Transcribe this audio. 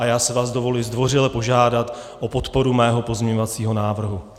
A já si vás dovoluji zdvořile požádat o podporu svého pozměňovacího návrhu.